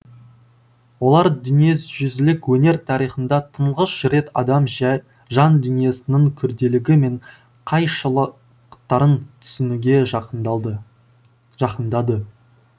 олар дүниежүзілік өнер тарихында тұңғыш рет адам жай жан дүниесінің күрделілігі мен қайшылықтарын түсінуге жақындалды жақындады